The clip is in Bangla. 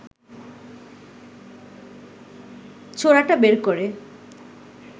ছোরাটা বের করে